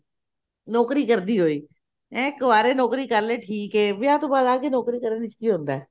ਨੋਕਰੀ ਕਰਦੀ ਹੋਈ ਕਵਾਰੇ ਨੋਕਰੀ ਕਰਲੇ ਠੀਕ ਆ ਵਿਆਹ ਤੋਂ ਬਾਅਦ ਆ ਕੇ ਨੋਕਰੀ ਕਰਨ ਵਿੱਚ ਕੀ ਹੁੰਦਾ